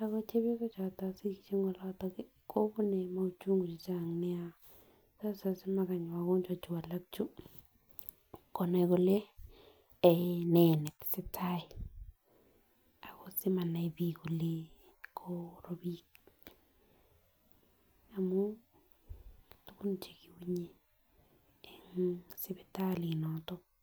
akot cheoyosok chotok sikishek en olotok kii kobune mauchungu chechang nia sasa samakany wakonjwa chuu alak chuu konai kole eh nee netesetai ako simanai bik kole korobik amun tukun chekiwunye en sipitalit noton.